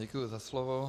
Děkuji za slovo.